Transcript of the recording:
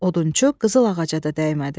Odunçu qızıl ağaca da dəymədi.